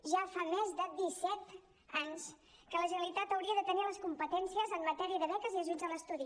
ja fa més de disset anys que la generalitat hauria de tenir les competències en matèria de beques i ajuts a l’estudi